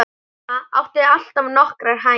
Mamma átti alltaf nokkrar hænur.